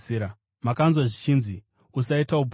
“Makanzwa zvichinzi, ‘Usaita upombwe.’